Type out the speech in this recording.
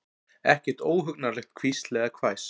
Ekkert óhugnanlegt hvísl eða hvæs.